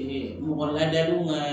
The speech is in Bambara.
mɔgɔ ladaliw ka